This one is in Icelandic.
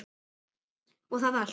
og það allt.